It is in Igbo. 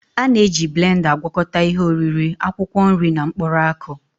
A na-eji blenda agwakọta ihe oriri, akwụkwọ nri na mkpụrụ akụ